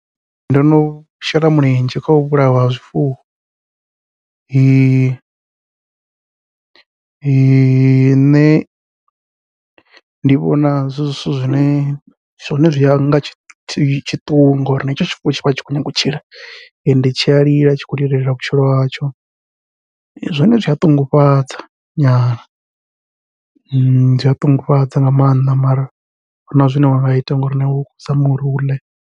Ndo no shela mulenzhe khau vhulaiwa ha zwifuwo, nṋe ndi vhona zwi zwithu zwine zwone zwi anga tshiṱuhu ngori na hetsho tshifuwo tshivha tshi khou nyanga u tshila, ende tshia lila tshi khou lilela vhutshilo hatsho, zwone zwia ṱungufhadza zwia ṱungufhadza nga maanḓa mara ahuna zwine wa nga ita ngauri na iwe u khou zama uri u ḽe.